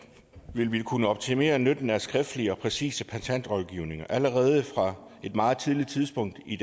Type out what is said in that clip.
vil vi kunne optimere nytten af skriftlige og præcise patentrådgivninger allerede fra et meget tidligt tidspunkt i